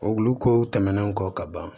O kulukoro tɛmɛnen kɔ ka ban